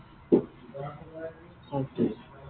Okay